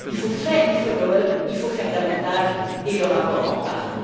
il faut faire du follow up il faut en faire davantage et le rapport en parle.